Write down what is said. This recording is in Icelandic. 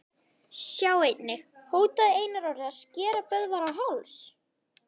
Sjá einnig: Hótaði Einar Orri að skera Böðvar á háls?